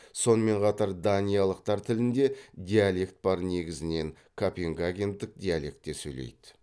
сонымен қатар даниялықтар тілінде диалект бар негізінен копенгагендік диалектте сөйлейді